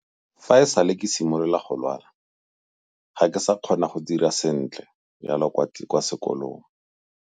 Fa e sale ke simolola go lwala, ga ke sa kgona go dira sentle jalo kwa sekolong.